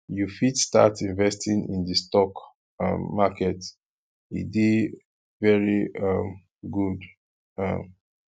you fit start investing in di stock um market e dey very um good um